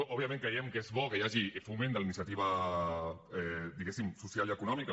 òbviament creiem que és bo que hi hagi foment de la iniciativa diguéssim social i econòmica